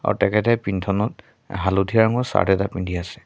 তেখেতে পিন্ধনত অ হালধীয়া ৰঙৰ চাৰ্ট এটা পিন্ধি আছে।